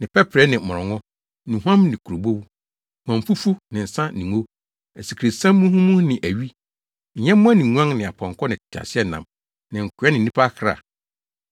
ne pɛprɛ ne mmorɔngo, nnuhuam ne kurobow, huamfufu ne nsa ne ngo, asikresiam muhumuhu ne awi, nyɛmmoa ne nguan ne apɔnkɔ ne nteaseɛnam ne nkoa ne nnipa akra.